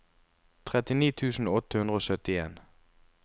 trettini tusen åtte hundre og syttien